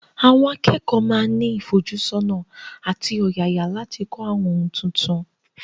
Àwọn akẹ́kọ̀ọ́ máa ní ìfojúsọ́nà àti ọ̀yàyà láti kọ́ àwọn ohun tuntun.